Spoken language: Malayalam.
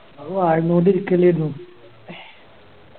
അത് വായി നോക്കി ഇരിക്കന്നേരുന്നു